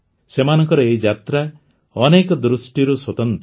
ସେମାନଙ୍କର ଏହି ଯାତ୍ରା ଅନେକ ଦୃଷ୍ଟିରୁ ସ୍ୱତନ୍ତ୍ର